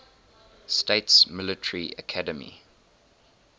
states military academy